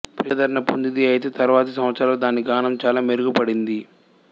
ప్రజాదరణ పొందింది అయితే తరువాతి సంవత్సరాల్లో దాని గానం చాలా మెరుగుపడింది